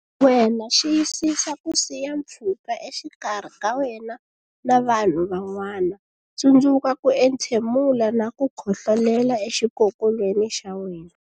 Wena Xiyisisa ku siya pfhuka exikarhi ka wena na vanhu van'wana Tsundzuka ku entshemula na ku khohlolela exikokolweni xa wena.